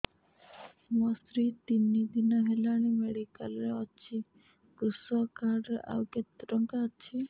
ମୋ ସ୍ତ୍ରୀ ତିନି ଦିନ ହେଲାଣି ମେଡିକାଲ ରେ ଅଛି କୃଷକ କାର୍ଡ ରେ ଆଉ କେତେ ଟଙ୍କା ଅଛି